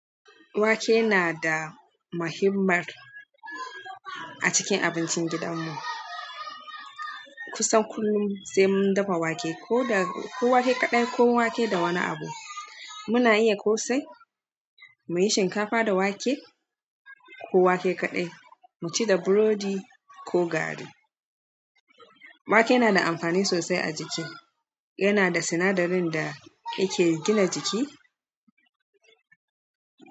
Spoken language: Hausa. Wake na da mahimmar a cikin abincin gidan mu. Kusan kullum sai mun dafa wake ko wake kaɗai ko wake da wani abu. Muna iya ko sai muyi shinkafa da wake ko wake kaɗai mu ci da burodi ko gari. Wake na da amfani sosai a jiki. Yanada sinadarin da yake gini jiki.